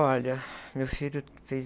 Olha, meu filho fez...